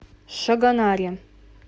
шагонаре